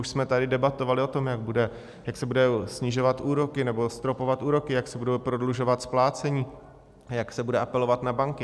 Už jsme tady debatovali o tom, jak se budou snižovat úroky, nebo stropovat úroky, jak se bude prodlužovat splácení, jak se bude apelovat na banky.